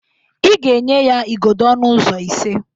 Ị ga-enye ya igodo ọnụ ụzọ ise!